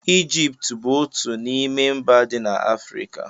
Ijipt bụ otú n'ime mba dị na Afrịka.